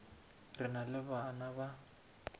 re na le bana ba